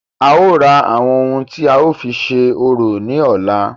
A ó ra àwọn ohun tí a ó fi ṣe orò ní ọ̀la.